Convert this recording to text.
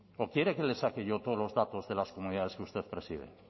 o quiere que le saque yo todos los datos de las comunidades que usted preside